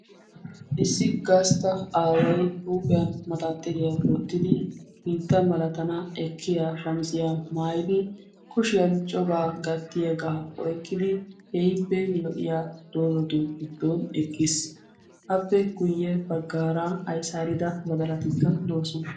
issi gastta aaway huuphiyan maxxaxiriya wottidi sinttan zo''o mlatana ekkiya shammizziya maayyidi kushiyaan coraa gattiyaaga oyqqidi keehippe lo''iyaaga doozzatu giddon eqqiis. appe guyye baggaara ayssarida badalatikka doosona.